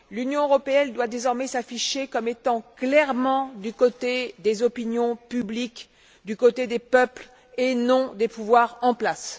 L'Union européenne doit désormais s'afficher comme étant clairement du côté des opinions publiques, du côté des peuples et non des pouvoirs en place.